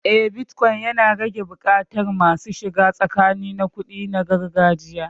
Eh, bitcoin yana rage buƙatar masu shiga tsakani na kuɗi na gargajiya.